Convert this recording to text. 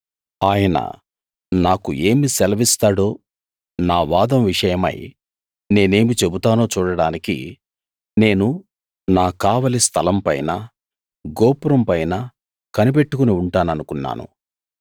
ఆయన నాకు ఏమి సెలవిస్తాడో నా వాదం విషయమై నేనేమి చెబుతానో చూడడానికి నేను నా కావలి స్థలంపైనా గోపురంపైనా కనిపెట్టుకుని ఉంటాననుకున్నాను